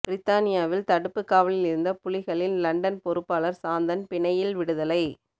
பிரித்தானியாவில் தடுப்புக் காவலில் இருந்த புலிகளின் இலண்டன் பொறுப்பாளர் சாந்தன் பிணையில் விடுதலை